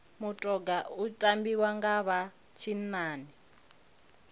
mutoga u tambiwa nga vha tshinnani